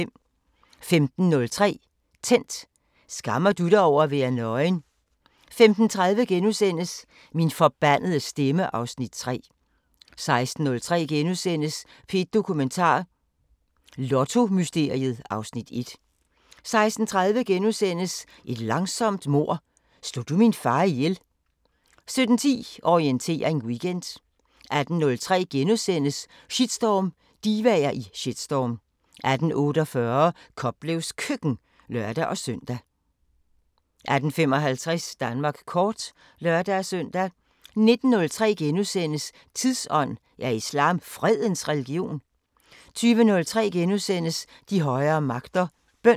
15:03: Tændt: Skammer du dig over at være nøgen? 15:30: Min forbandede stemme (Afs. 3)* 16:03: P1 Dokumentar: Lottomysteriet (Afs. 1)* 16:30: Et langsomt mord – Slog du min far ihjel? * 17:10: Orientering Weekend 18:03: Shitstorm: Divaer i shitstorm * 18:48: Koplevs Køkken (lør-søn) 18:55: Danmark kort (lør-søn) 19:03: Tidsånd: Er islam fredens religion? * 20:03: De højere magter: Bøn *